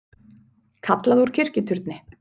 Kallað úr kirkjuturni